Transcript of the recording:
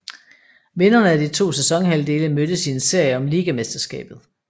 Vinderne af de to sæsonhalvdele mødtes i en serie om ligamesterskabet